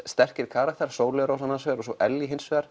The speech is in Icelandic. sterkir karakterar Sóley Rós annars vegar og svo Ellý hins vegar